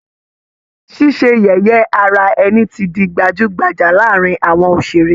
Ṣíṣe yẹ̀yẹ́ ara ẹni ti di gbajú-gbajà láàárín àwọn òṣèré